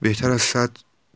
весь расклад